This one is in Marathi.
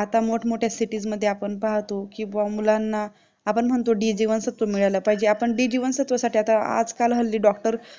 आता मोठमोठ्या cities मध्ये आपण पाहतो व मुलांना आपण म्हणतो की d जीवनसत्त्व मिळाला पाहिजे आपण d जीवनसत्वासाठी आजकाल doctor